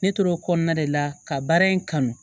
Ne tor'o kɔnɔna de la ka baara in kanu